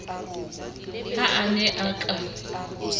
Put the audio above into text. ha a ne a ka